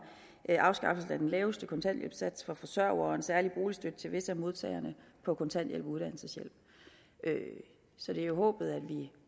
afskaffelsen af den laveste kontanthjælpssats for forsørgere og en særlig boligstøtte til visse af modtagerne på kontanthjælp og uddannelseshjælp så det er håbet at vi